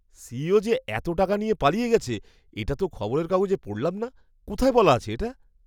CEO যে এত টাকা নিয়ে পালিয়ে গেছে এটা তো খবরের কাগজে পড়লাম না! কোথায় বলা আছে এটা?